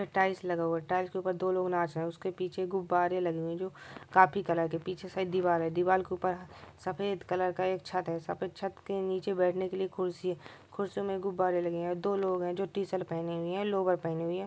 यह टाइल्स लगा हुआ है टाइल्स के ऊपर दो लोग नाच रहे है उसके पीछे गुब्बारे लगे हुए है जो काफी कलर के पीछे साइक दीवार है दीवार के ऊपर सफेद कलर का एक छत है सफेद छत के नीचे बेठने के लिए कुर्सी है कुर्सी मे गुब्बारे लगे है दो लोग है जो टी-शर्ट पहने हुए है लोवर पहने हुए है।